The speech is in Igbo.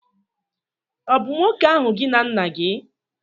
ọ̀ bu nwoke ahu gi na nna-gi?